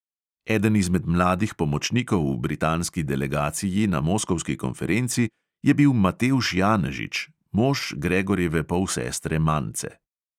Eden izmed mladih pomočnikov v britanski delegaciji na moskovski konferenci je bil matevž janežič, mož gregorjeve polsestre mance.